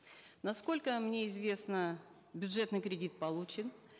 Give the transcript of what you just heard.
насколько мне известно бюджетный кредит получен